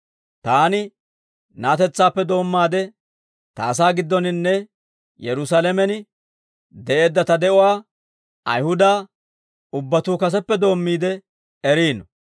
«Taani na'atetsaappe doommaade ta asaa giddoninne Yerusaalamen de'eedda ta de'uwaa Ayihuda ubbatuu kaseppe doommiide eriino.